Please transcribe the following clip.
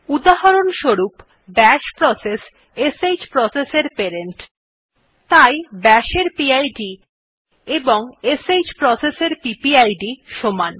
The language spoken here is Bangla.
উদাহরণস্বরূপ বাশ প্রসেস শ্ প্রসেস এর প্যারেন্ট তাই bashএর পিড এবং শ্ প্রসেস এর পিপিআইডি সমান